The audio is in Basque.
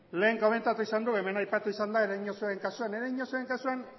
lehen komentatu izan du hemen aipatu izan da ereñotzuren kasuan ereñotzuren kasuan